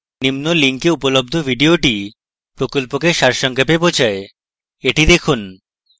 নিম্ন link উপলব্ধ video প্রকল্পকে সারসংক্ষেপে বোঝায় the দেখুন